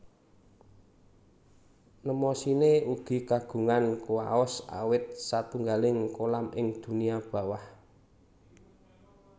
Mnemosine ugi kagungan kuwaos awit satunggaling kolam ing dunia bawah